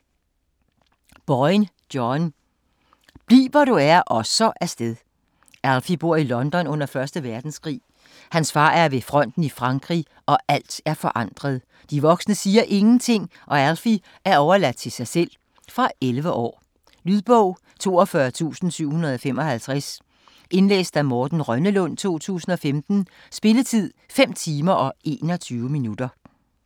Boyne, John: Bliv hvor du er og så af sted Alfie bor i London under 1. verdenskrig. Hans far er ved fronten i Frankrig og alt er forandret. De voksne siger ingenting, og Alfie er overladt til sig selv. Fra 11 år. Lydbog 42755 Indlæst af Morten Rønnelund, 2015. Spilletid: 5 timer, 21 minutter.